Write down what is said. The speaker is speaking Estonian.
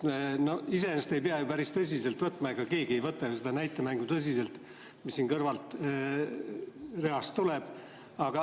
Me iseenesest ei pea ju päris tõsiselt võtma, keegi ei võta ju seda näitemängu tõsiselt, mis sealt kõrvaltreast tuleb.